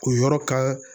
O yɔrɔ kan